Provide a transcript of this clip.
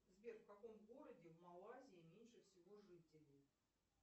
сбер в каком городе в малайзии меньше всего жителей